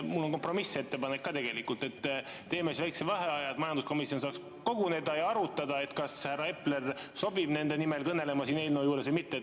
Mul on kompromissettepanek ka tegelikult: teeme väikese vaheaja, et majanduskomisjon saaks koguneda ja arutada, kas härra Epler sobib nende nimel kõnelema selle eelnõu juures või mitte.